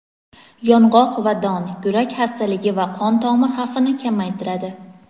yong‘oq va don – yurak xastaligi va qon tomir xavfini kamaytiradi.